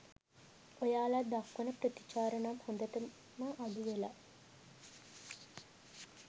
ඔයාලා දක්වන ප්‍රතිචාර නම් හොඳටම අඩු වෙලා.